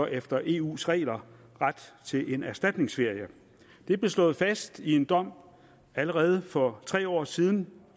efter eus regler ret til en erstatningsferie det blev slået fast i en dom allerede for tre år siden